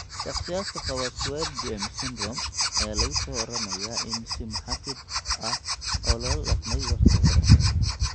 Shakhsiyaadka qaba Swyer James syndrome ayaa lagu soo waramayaa in si muxaafid ah loola dhaqmay waqti hore.